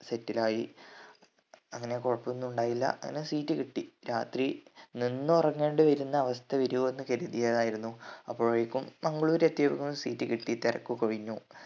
settle ആയി അങ്ങനെ കൊഴപ്പൊന്നും ഉണ്ടായില്ല അങ്ങനെ seat കിട്ടി രാത്രി നിന്ന് ഉറങ്ങേണ്ടിവരുന്ന അവസ്ഥ വരുവോന്ന് കരുതിയതായിരുന്നു അപ്പോഴെക്കും മംഗ്ളൂര് എത്തിയപ്പോൾ seat കിട്ടി തിരക്കൊക്കെ ഒഴിഞ്ഞു